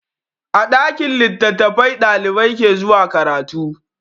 A ɗakin littattafai ɗalibai ke zuwa karatu.